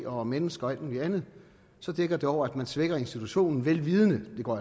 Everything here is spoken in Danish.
og mennesker og alt muligt andet dækker det over at man svækker institutionen vel vidende det går